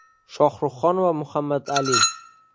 Shohruhxon va Muhammadali.